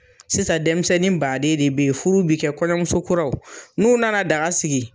Sisan denmisɛnnin baden de bɛ yen, furu bɛ kɛ, kɔɲɔmusokuraw n'u nana daga sigi